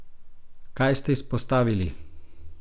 Kaj ste izpostavili?